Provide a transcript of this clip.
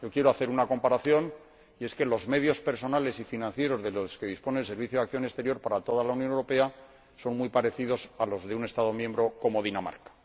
Quiero hacer una comparación y es que los medios personales y financieros de los que dispone el Servicio Europeo de Acción Exterior para toda la Unión Europea son muy parecidos a los de un Estado miembro como Dinamarca.